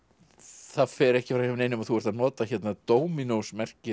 það fer ekki framhjá neinum að þú ert að nota hérna